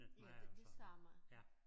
Ja det det samme